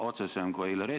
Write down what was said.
Tulles tagasi küsimuse juurde.